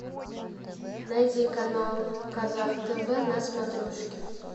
найди канал казах тв на смотрешке